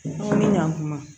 Ɲan kuma